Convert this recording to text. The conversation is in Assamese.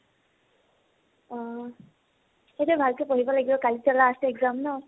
অ । এতিয়া ভাল কে পঢ়িব লাগিব, কালি ত last exam ন ।